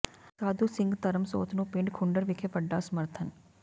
ਸਾਧੂ ਸਿੰਘ ਧਰਮਸੋਤ ਨੂੰ ਪਿੰਡ ਘੁੰਡਰ ਵਿਖੇ ਵੱਡਾ ਸਮਰਥਨ